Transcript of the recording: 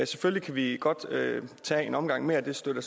selvfølgelig kan vi godt tage en omgang mere det støtter